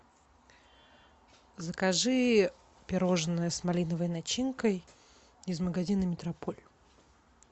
закажи пирожное с малиновой начинкой из магазина метрополь